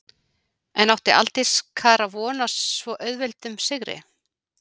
En átti Aldís Kara von á svo auðveldum sigri?